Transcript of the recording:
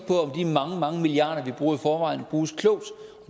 mange mange milliarder vi bruger i forvejen bruges klogt